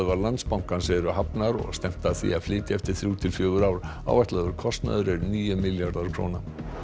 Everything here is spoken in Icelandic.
Landsbankans eru hafnar og stefnt að því að flytja eftir þrjú til fjögur ár áætlaður kostnaður er níu milljarðar króna